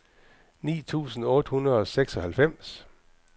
ni tusind otte hundrede og seksoghalvfems